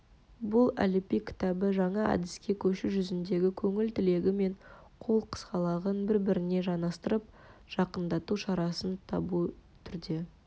бұл әліб-бій кітабы жаңа әдіске көшу жүзіндегі көңіл тілегі мен қол қысқалығын бір-біріне жанастырып жақындату шарасын табу түрде